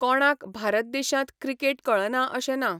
कोणांक भारत देशांत क्रिकेट कळना अशें ना.